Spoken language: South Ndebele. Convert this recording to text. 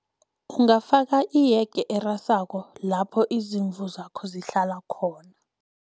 Ungafaka iyege erasako, lapho izimvu zakho zihlala khona.